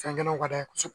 Fɛn gɛlɛnw ka d'a ye kosɛbɛ